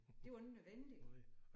Det var ikke nødvendigt